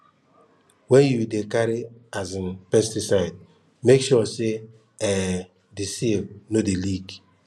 when you dey carry um pesticide make sure say um the seal no dey leak